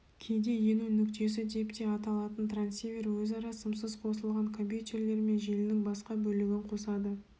кейде ену нүктесі деп те аталатын трансивер өзара сымсыз қосылған компьютерлер мен желінің басқа бөлігін қосады